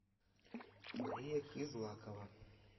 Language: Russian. мария кызлакова